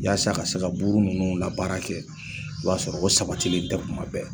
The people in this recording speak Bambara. Yasa ka se ka buru ninnu la baara kɛ , o y'a sɔrɔ o sabatilen tɛ kuma bɛɛ